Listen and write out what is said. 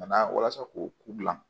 Ka na walasa k'o gilan